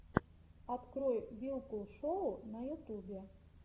открой вилкул шоу на ютубе